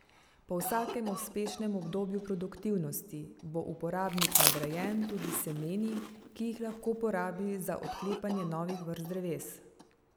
Po vsakem uspešnem obdobju produktivnosti bo uporabnik nagrajen tudi s semeni, ki jih lahko porabi za odklepanje novih vrst dreves.